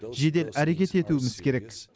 жедел әрекет етуіміз керек